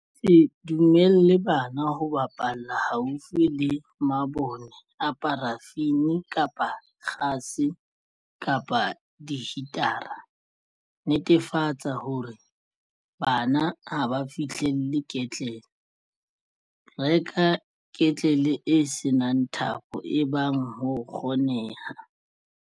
Se dumelle bana ho bapalla haufi le mabone a parafini kapa a kgase kapa dihitara. Netefatsa hore bana ha ba fihlelle ketlele. Reka ketlele e se nang thapo ebang ho kgoneha.